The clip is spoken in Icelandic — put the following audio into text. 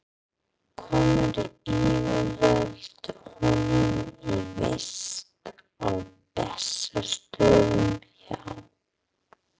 Komu yfirvöld honum í vist á Bessastöðum hjá